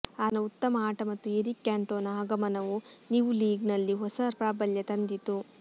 ಆತನ ಉತ್ತಮ ಆಟ ಮತ್ತು ಎರಿಕ್ ಕ್ಯಾಂಟೊನಾ ಆಗಮನವು ನಿವ್ ಲೀಗ್ ನಲ್ಲಿ ಹೊಸ ಪ್ರಾಬಲ್ಯ ತಂದಿತು